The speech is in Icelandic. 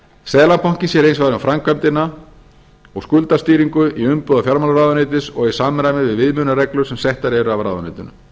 seðlabankinn sér hins vegar um framkvæmdina og skuldstýringu í umboði fjármálaráðuneytis og í samræmi við viðmiðunarreglur sem settar eru af ráðuneytinu